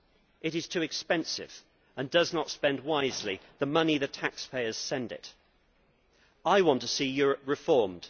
It is too expensive and does not spend wisely the money the taxpayers send it. I want to see Europe reformed.